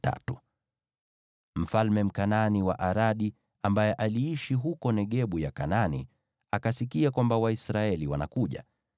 Mfalme Mkanaani wa Aradi, ambaye aliishi huko Negebu ya Kanaani, akasikia kwamba Waisraeli wanakuja.